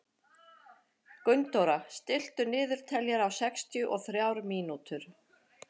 Gunndóra, stilltu niðurteljara á sextíu og þrjár mínútur.